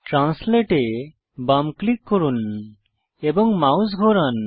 translate এ বাম click করুন এবং মাউস ঘোরান